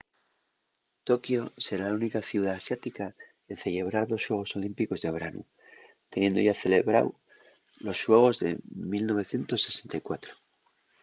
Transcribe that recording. tokiu será la única ciudá asiática en cellebrar dos xuegos olímpicos de branu teniendo yá celebrao los xuegos de 1964